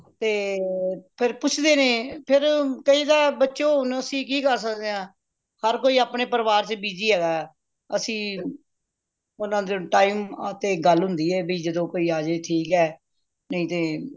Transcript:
ਤੇ ਫੇਰ ਪੁੱਛਦੇ ਨੇ ਫੇਰ ਕਹਿਦਾ ਬਚੋ ਹੁਣ ਅੱਸੀ ਕਿ ਕਰ ਸਕਦੇ ਆ ਹਰ ਕੋਈ ਆਪਣੇ ਪਰਿਵਾਰ ਚ busy ਹੈਗਾ ਅੱਸੀ ਓਹਨਾ ਦੇ time ਤੇ ਗੱਲ ਹੁੰਦੀ ਏ ਬਇ ਜਦੋ ਕੋਈ ਆਜੇ ਤੇ ਠੀਕ ਏ ਨਹੀਂ ਤੇ